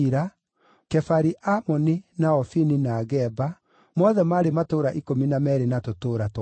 Kefari-Amoni, na Ofini, na Geba; mothe maarĩ matũũra ikũmi na meerĩ na tũtũũra twamo.